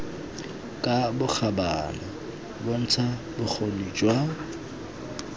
ka bokgabane bontsha bokgoni jwa